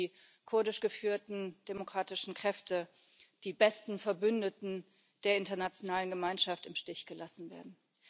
Wir sehen, wie die kurdisch geführten demokratischen Kräfte, die besten Verbündeten der internationalen Gemeinschaft, im Stich gelassen werden.